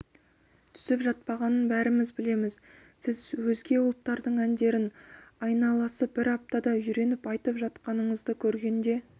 түсіп жатпағанын бәріміз білеміз сіз өзге ұлттардың әндерін айналасы бір аптада үйреніп айтып жатқаныңызды көргенде